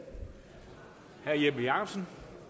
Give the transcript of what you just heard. så